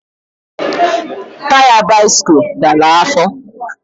Taya bisikul dara afọ